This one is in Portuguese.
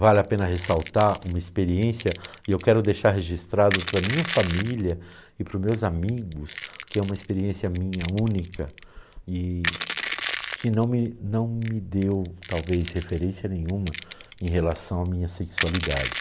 Vale a pena ressaltar uma experiência, e eu quero deixar registrado para a minha família e para os meus amigos, que é uma experiência minha única e que não me não me deu, talvez, referência nenhuma em relação à minha sexualidade.